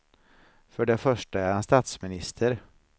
För det första är han statsminister.